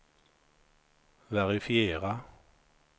verifiera